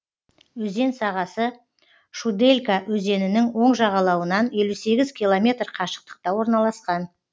өзен сағасы шуделька өзенінің оң жағалауынан елу сегіз километр қашықтықта орналасқан